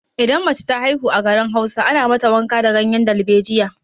Idan mace ta haihu a garin Hausa, ana mata wanka da ganyen dalbejiya.